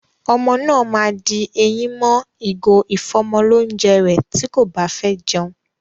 Ọmọ náà ma di eyín mọ́ ìgò ìfọ́mọlónjẹ rẹ̀ tí kò báfẹ́ jẹun.